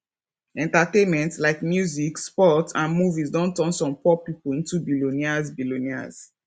entertainment like music sports and movies don turn some poor people into billionaires billionaires